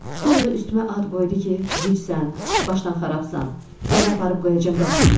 Sonra da üstümə ad qoydu ki, gecsən, başdan xarabdan, səni aparıb qoyacam dəlixanaya.